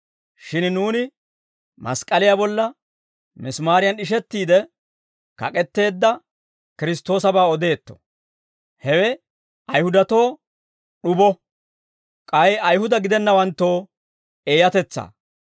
Shin nuuni mask'k'aliyaa bolla misimaariyan d'ishettiide kak'etteedda Kiristtoosabaa odeetto. Hewe Ayihudatoo d'ubo; k'ay Ayihuda gidennawanttoo eeyatetsaa.